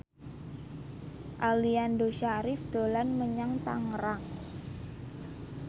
Aliando Syarif dolan menyang Tangerang